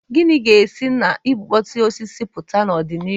Gịnị ga-esi na igbukpọsị osisi pụta n'ọdịnihu?